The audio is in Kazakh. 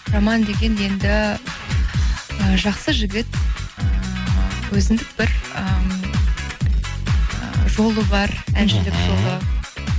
роман деген енді ы жақсы жігіт ыыы өзіндік бір ыыы жолы бар мхм әншілік жолы